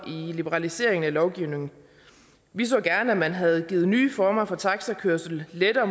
liberaliseringen af lovgivningen vi så gerne at man havde givet nye former for taxakørsel lettere